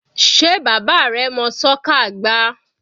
Sé bàbá rẹ mọ́ soccer gbá?